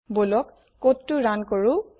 বলক কোডটো ৰুণ কৰো